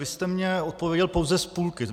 Vy jste mně odpověděl pouze z půlky.